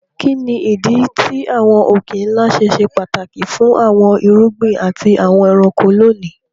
Kí ni ìdí tí àwọn òkè-ńlá ṣe ṣe pàtàkì fún àwọn irúgbìn àti àwọn ẹranko lónìí?